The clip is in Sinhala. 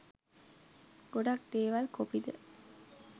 ගොඩක් දේවල් කොපිද.